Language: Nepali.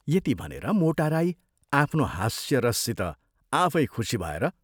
यति भनेर मोटा राईं आफ्नो हास्यरससित आफै खुशी भएर